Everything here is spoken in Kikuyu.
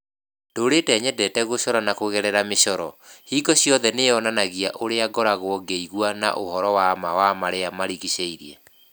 Ndũrĩte nyendete gũcora na kũgerera mĩcoro, hingo ciothe nĩ yonanagia ũrĩa ngoragwo ngiigua na ũhoro wa ma wa marĩa marigicĩirie